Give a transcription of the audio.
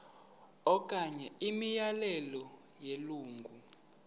okanye imiyalelo yelungu